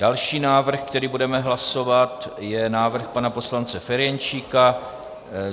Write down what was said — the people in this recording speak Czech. Další návrh, který budeme hlasovat ,je návrh pana poslance Ferjenčíka.